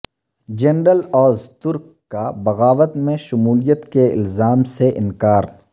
general Ozturk کا بغاوت میں شمولیت کے الزام سے انکار